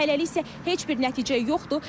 Hələlik isə heç bir nəticə yoxdur.